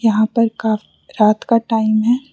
यहां पर का रात का टाइम है।